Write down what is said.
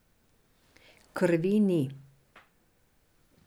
Krvi ni.